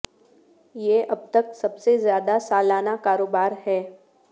یہ اب تک سب سے زیادہ سالانہ کاروبار ہے